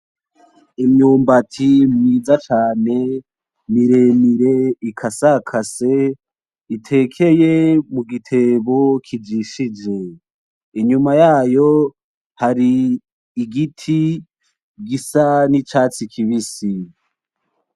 Imyimbati myiza cane miremire ikasekase itekeye mu gitego kijishe. Inyuma yayo, hari igiti gisa n'icasi kibisi.